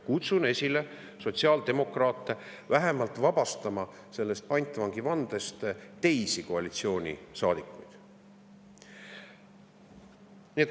Kutsun sotsiaaldemokraate üles vähemalt vabastama sellest pantvangivandest teisi koalitsioonisaadikuid.